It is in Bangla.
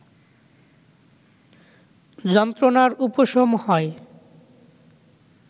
যন্ত্রণার উপশম হয়